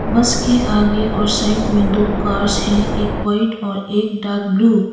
बस के आगे और साइड में दो कार्स है एक वाइट और एक डार्क ब्लू --